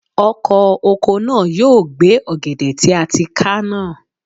Ọkọ̀ oko náà yóò gbẹ́ ọ̀gẹ̀dẹ̀ tí a ti ká náà.